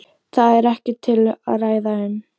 Það er ekkert til að ræða um.